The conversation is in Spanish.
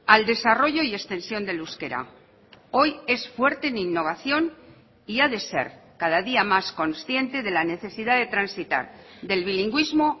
al desarrollo y extensión del euskera hoy es fuerte en innovación y ha de ser cada día más consciente de la necesidad de transitar del bilingüismo